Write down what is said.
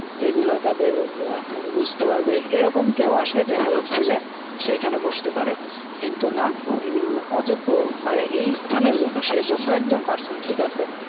এগুলা তাদের বুঝতে পারবে এরকম কেউ আসে দেখা যাচ্ছে যে সে এইখানে বসতে পারে। কিন্তু না! উম অযোগ্য মানে এইস্থানের জন্য, সে যোগ্য একজন person ঠিক আছে